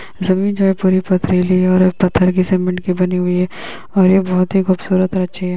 ज़मीन जो है पुरी पथरीली है और पत्थर की सीमेंट की बनी हुई है। और यह बहुत ही खूबसूरत और अच्छी है।